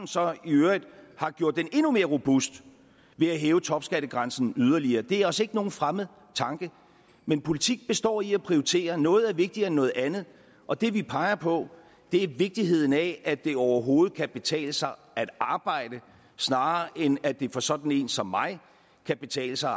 har gjort den endnu mere robust ved at hæve topskattegrænsen yderligere det er os ikke nogen fremmed tanke men politik består i at prioritere noget er vigtigere end noget andet og det vi peger på er vigtigheden af at det overhovedet kan betale sig at arbejde snarere end at det for sådan en som mig kan betale sig